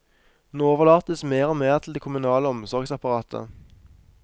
Nå overlates mer og mer til det kommunale omsorgsapparatet.